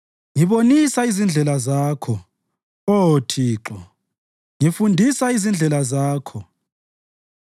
Ngibonisa izindlela Zakho, Oh Thixo, ngifundisa izindlela Zakho;